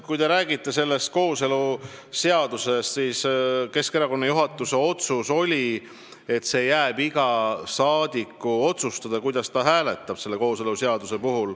Kui te räägite kooseluseadusest, siis Keskerakonna juhatuse otsus oli, et see jääb iga saadiku otsustada, kuidas ta hääletab.